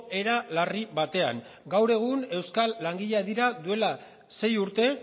era larri batean gaur egun euskal langileak dira duela sei urte